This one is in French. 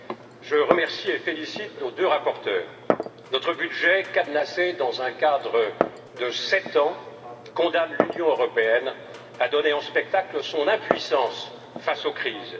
Madame la Présidente, je remercie et félicite nos deux rapporteurs. Notre budget cadenassé dans un cadre de sept ans condamne l'Union européenne à donner en spectacle son impuissance face aux crises.